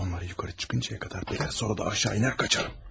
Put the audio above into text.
Onlar yuxarı çıxıncaya qədər gözlər, sonra da aşağı enər, qaçaram.